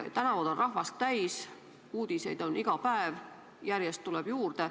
Tänavad on rahvast täis, uudiseid on iga päev, järjest tuleb juurde.